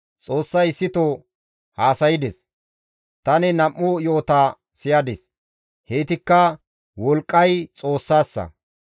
Xoossay issito haasaydes; tani nam7u yo7ota siyadis; heytikka, «Wolqqay Xoossassa;